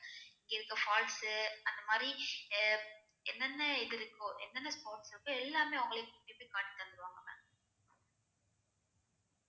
இங்க இருக்குற falls அந்த மாறி அஹ் என்ன என்ன இது இருக்கோ என்ன என்ன falls இருக்கோ எல்லாமே அவங்களே கூட்டிட்டு போயி காட்டி தந்திருவாங்க ma'am